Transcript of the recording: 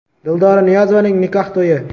Dildora Niyozovaning nikoh to‘yi.